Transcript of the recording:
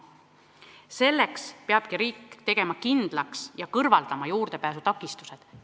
Selleks peab riik tegema kindlaks ja kõrvaldama juurdepääsu takistused.